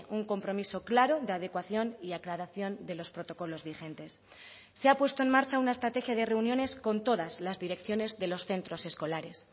un compromiso claro de adecuación y aclaración de los protocolos vigentes se ha puesto en marcha una estrategia de reuniones con todas las direcciones de los centros escolares